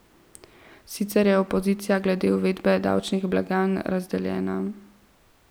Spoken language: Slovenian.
Sicer pa je opozicija glede uvedbe davčnih blagajn razdeljena.